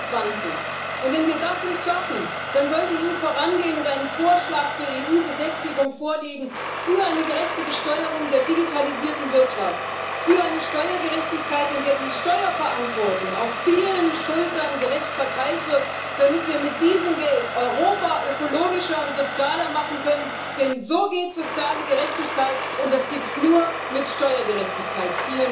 2020. Wenn wir das nicht schaffen, dann soll die EU vorangehen und einen Vorschlag zur EU Gesetzgebung vorlegen für eine gerechte Besteuerung der digitalisierten Wirtschaft, für eine Steuergerechtigkeit, in der die Steuerverantwortung auf vielen Schultern gerecht verteilt wird, damit wir mit diesem Geld Europa ökologischer und sozialer machen können. Denn so geht soziale Gerechtigkeit, und das gibt es nur mit Steuergerechtigkeit.